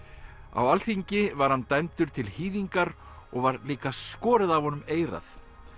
á Alþingi var hann dæmdur til hýðingar og var líka skorið af honum eyrað